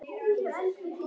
geturðu ráðið, eða hvað?